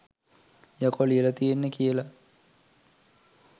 යකෝ ලියල තියෙන්නෙ කියල